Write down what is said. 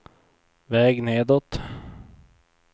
väg nedåt